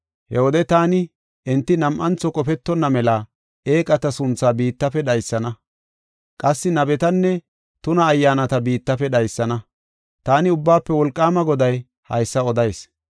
He wode taani enti nam7antho qofetonna mela eeqata sunthaa biittafe dhaysana. Qassi nabetanne tuna ayyaanata biittafe dhaysana. Taani Ubbaafe Wolqaama Goday haysa odayis.